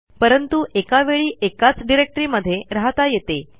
परंतु एका वेळी एकाच डिरेक्टरीमध्ये रहाता येते